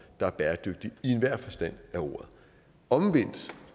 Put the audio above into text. der er bæredygtig i enhver forstand af ordet omvendt